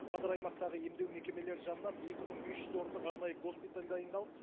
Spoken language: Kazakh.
қазір аймақтағы емдеу мекемелері жанынан екі мың бес жүз орындық арнайы госпиталь дайындалып